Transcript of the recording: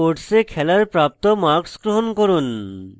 sports এ খেলায় প্রাপ্ত marks গ্রহণ করুন